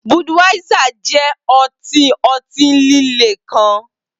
Budweiser jẹ ọti ọti-lile kan